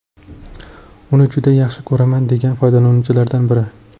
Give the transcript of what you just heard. Uni juda yaxshi ko‘raman”, degan foydalanuvchilardan biri.